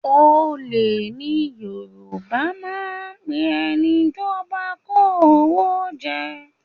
Olè ni Yorùbá máa ń pe ẹni tí ó bá kó owó jẹ